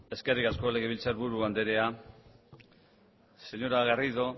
eskerrik asko legebiltzar buru anderea señora garrido